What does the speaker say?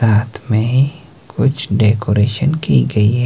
साथ में कुछ डेकोरेशन की गई है।